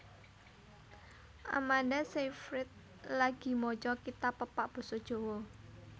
Amanda Seyfried lagi maca kitab pepak basa Jawa